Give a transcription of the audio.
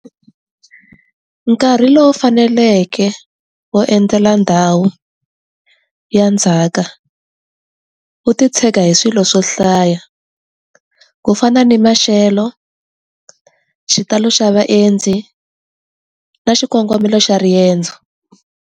Nkarhi lowu faneleke wo endzela ndhawu, ya ndzhaka, wu ti tshega hi swilo swo hlaya. Ku fana ni maxelo, xitalo xa vaendzi, na xikongomelo xa riendzo.